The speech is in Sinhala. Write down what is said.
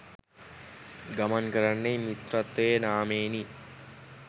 ගමන් කරන්නේ මිත්‍රත්වයේ නාමයෙනි.